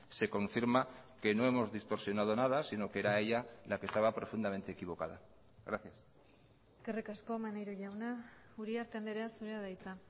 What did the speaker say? se confirma que no hemos distorsionado nada sino que era ella la que estaba profundamente equivocada gracias eskerrik asko maneiro jauna uriarte andrea zurea da hitza